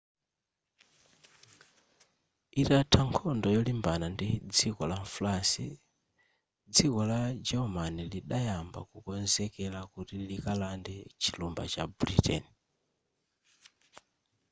itatha nkhondo yolimbana ndi dziko la france dziko la german lidayamba kukonzekera kuti likalande chilumba cha britain